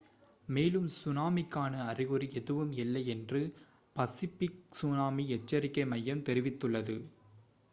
மேலும் சுனாமிக்கான அறிகுறி எதுவும் இல்லை என்று பசிபிக் சுனாமி எச்சரிக்கை மையம் தெரிவித்துள்ளது